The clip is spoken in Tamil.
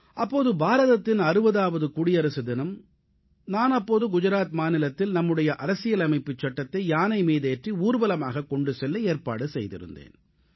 அப்போது பாரதத்தின் 60ஆவது குடியரசு தினம் நான் அப்போது குஜராத் மாநிலத்தில் நம்முடைய அரசியலமைப்புச் சட்டத்தை யானை மீதேற்றி ஊர்வலமாக கொண்டு செல்ல ஏற்பாடு செய்திருந்தேன்